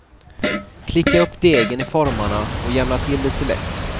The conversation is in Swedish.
Klicka upp degen i formarna och jämna till lite lätt.